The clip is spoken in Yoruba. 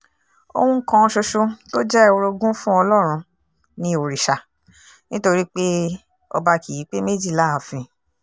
ohun kan ṣoṣo tó jẹ́ orogún fún ọlọ́run ni òrìṣà nítorí pé ọba kì í pé méjì láàfin